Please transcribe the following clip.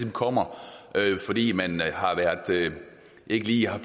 kommer fordi man ikke lige har